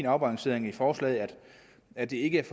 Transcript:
afbalancering i forslaget at det ikke er